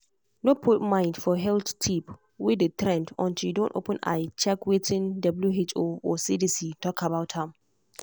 no put mind for health tip wey dey trend until you don open eye check wetin who or cdc talk about am.